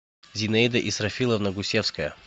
зинаида исрафиловна гусевская